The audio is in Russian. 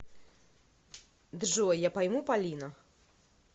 джой я пойму полина